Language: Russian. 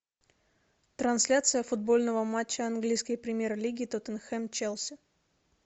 трансляция футбольного матча английской премьер лиги тоттенхэм челси